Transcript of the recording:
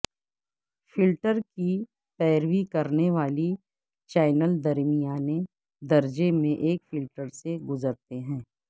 filter کی پیروی کرنے والی چینل درمیانے درجے میں ایک فلٹر سے گزرتے ہیں